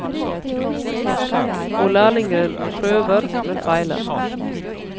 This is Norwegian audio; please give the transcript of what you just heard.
Og lærlingen prøver, men feiler.